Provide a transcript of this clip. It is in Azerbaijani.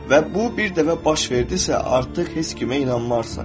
Və bu bir dəfə baş verdisə, artıq heç kimə inanmarsan.